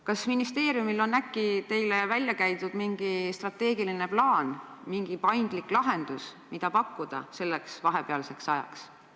Kas ministeeriumil on äkki teile välja käidud mingi strateegiline plaan või paindlik lahendus, mida pakkuda selleks vahepealseks ajaks?